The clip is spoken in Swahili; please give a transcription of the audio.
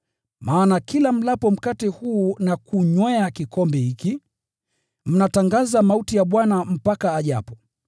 Maana kila mlapo mkate huu na kunywea kikombe hiki, mnatangaza mauti ya Bwana mpaka ajapo.